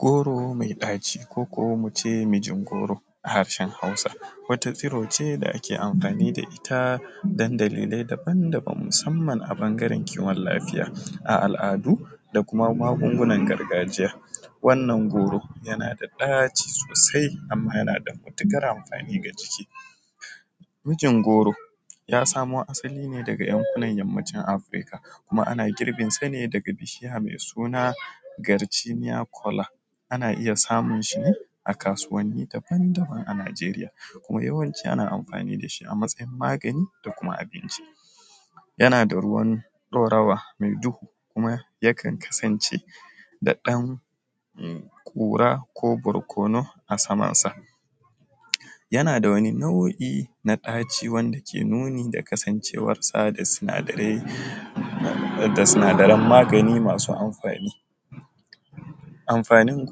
Goro mai ɗaci ko ko muce mijin goro a harshen hausa, wata tsiro ce da ake amfani da ita dan dalilai daban-daban a bnagaren kiwon lafiya a al’adu da kuma magungunan gargajiya, wannan goro yana da ɗaci sosai amma yana da matukar amfani ga lafiyar jiki, mijin goro ya samo asali ne daga yankunan yammacin Afrika kuma ana girbinsa ne daga bishiya mai suna garcinya kola, ana iya samun shi ne a kasuwanin daban-daban a Nijeriya kuma yawanci ana amfani da shi a matsayin magani da kuma abinci, yana da ruwan ɗorawa kuma yakan kasance da ɗan kura ko barkono a samansa, yana da wani nau’i na ɗaci wanda ke nuni da kasancewar sa da sinadarai maganin masu amfani amfanin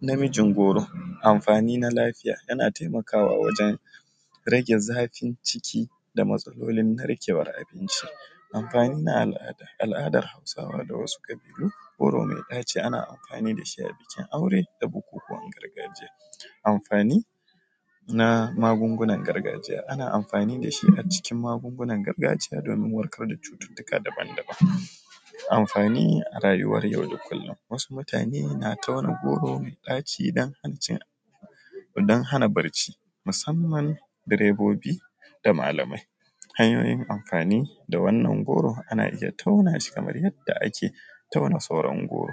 na mijin goro amfani na lafiya yana taimakawa wajen rage zafin ciki da matsalolin narkewar abinci amfani na al’ada hausawa da wasu kabilu goron ɗaci ana amfani da shi a bikin aure da bukukuwan gargajiya amfani na magungunan gargajiya ana amfani da shi a cikin magungunan gargajiya domin kauda cututtuka da daban-daban amfanin rayuwar yau da kullum, wasu mutane na tauna goro mai ɗaci idan an ci dan hana barci musamman direbobi da malamai, hanyoyin amfani da wannan goro ana iya taunashi kamar yadda ake tauna sauran goro.